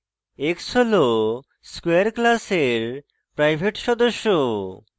x হল square class private সদস্য